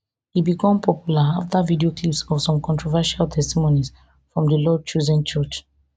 e become popular afta video clips of some controversial testimonies from di lord chosen church